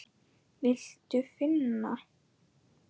Viltu finna?